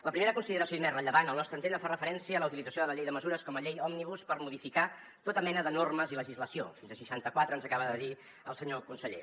la primera consideració i més rellevant al nostre entendre fa referència a la utilització de la llei de mesures com a llei òmnibus per modificar tota mena de normes i legislació fins a seixanta quatre ens acaba de dir el senyor conseller